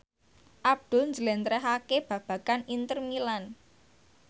Abdul njlentrehake babagan Inter Milan